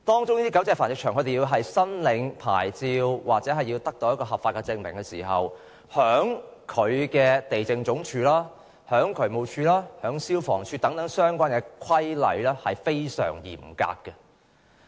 就狗隻繁殖場申領牌照或合法證明而言，地政總署、渠務署及消防處等相關部門均訂明非常嚴格的規例。